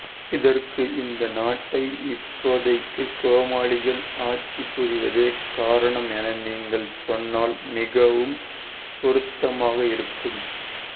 இதற்கு இந்த நாட்டை இப்போதைக்கு கோமாளிகள் ஆட்சி புரிவதே காரணம் என நீங்கள் சொன்னால் மிகவும் பொருத்தமாக இருக்கும்